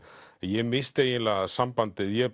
ég missti eiginlega sambandið ég